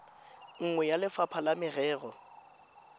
nngwe ya lefapha la merero